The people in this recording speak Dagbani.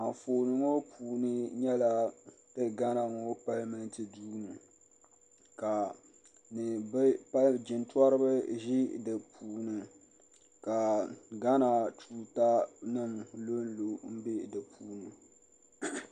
Anfooni ŋɔ puuni nyɛla ti Ghana ŋɔ palimenti duu ŋɔ ka jintoriba ʒi di puuni ka Ghana tuutanima lo n-lo m-be di puuni.